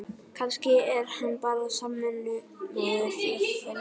Kannski er hann bara samvinnumaður, jafnvel í